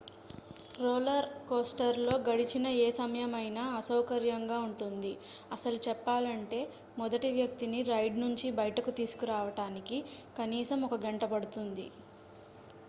roller coaster లో గడిచిన ఏ సమయమైనా అసౌకర్యంగా ఉంటుంది అసలు చెప్పాలంటే మొదటి వ్యక్తిని రైడ్ నుంచి బయటకు తీసుకురావడానికి కనీసం ఒక గంట పడుతుంది